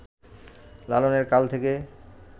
লালনের কাল থেকে